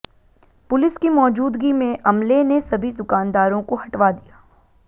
police की मौजूदगी में अमले ने सभी दुकानदारों को हटवा दिया